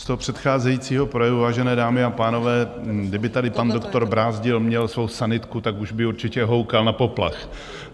Z toho předcházejícího projevu, vážené dámy a pánové, kdyby tady pan doktor Brázdil měl svou sanitku, tak už by určitě houkal na poplach.